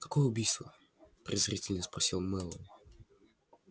какое убийство презрительно спросил мэллоу